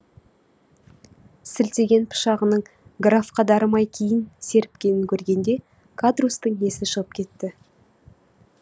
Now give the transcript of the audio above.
сілтеген пышағының графқа дарымай кейін серіпкенін көргенде кадрусстың есі шығып кетті